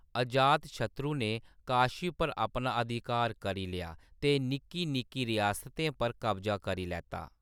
अजातशत्रु ने काशी पर अपना अधिकार करी लेआ ते निक्की-निक्की रियासतें पर कब्जा करी लैता।